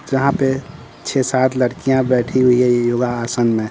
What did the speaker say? जहां पे छह सात लड़कियां बैठी हुई हैं योगासन में।